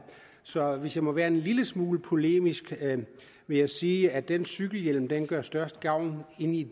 så hvis jeg må være en lille smule polemisk vil jeg sige at den cykelhjelm gør størst gavn inde i